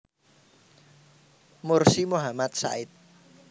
Mursi Muhammad Said